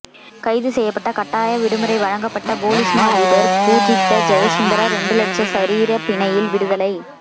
கைது செய்யப்பட்ட கட்டாய விடுமுறை வழங்கப்பட்ட பொலிஸ்மா அதிபர் பூஜித்த ஜயசுந்தர இரண்டு லட்ச சரீர பிணையில் விடுதலை